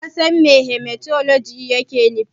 Ka san me Hematologi yake nufi?